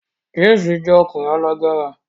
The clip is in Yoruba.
James jẹ́ ọkùnrin alágbára